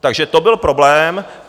Takže to byl problém.